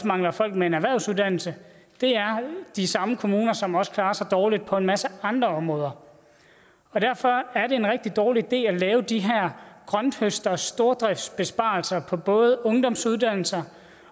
mangler folk med en erhvervsuddannelse det er de samme kommuner som også klarer sig dårligt på en masse andre områder derfor er det en rigtig dårlig idé at lave de her grønthøsterstordriftsbesparelser på både ungdomsuddannelser